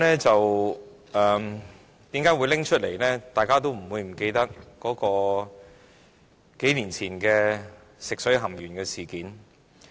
主席，大家都不會忘記數年前發生的食水含鉛事件。